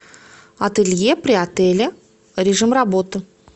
ателье при отеле режим работы